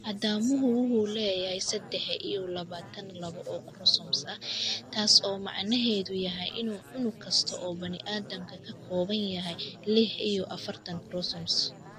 Aadamuhu waxa uu leeyahay sedex iyo labatan-labo oo koromosoom ah, taas oo macnaheedu yahay in unug kasta oo bani-aadmigu ka kooban yahay lix iyo afartan koromosoom.